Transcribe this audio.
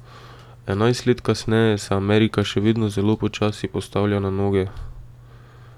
Enajst let kasneje se Amerika še vedno zelo počasi postavlja na noge.